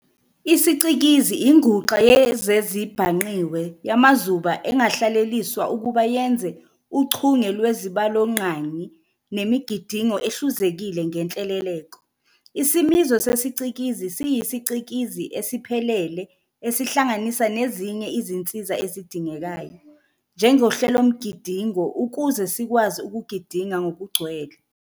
IsiCikizi inguxa yezezibhangqiwe yamazuba engahleleliswa ukuba yenze uchunge lwezibalonqangi nemigidingo ehluzekile ngenhleleleko. Isimiso sesiCikizi siyisicikizi esiphelele esihlanganisa nezinye izinsiza ezidingekayo, njengehlelomgidingo ukuze sikwazi ukugidinga ngokugcwele.